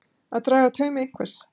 Að draga taum einhvers